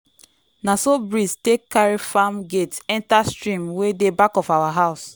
na so breeze take carry farm gate enter stream wey dey back of our house.